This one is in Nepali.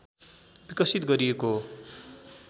विकसित गरिएको हो